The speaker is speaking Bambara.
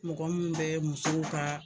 Mɔgɔ min bɛ musow ka